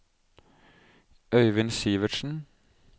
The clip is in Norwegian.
Øyvind Sivertsen